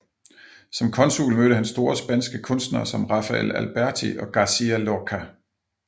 Som konsul mødte han store spanske kunstnere som Rafael Alberti og García Lorca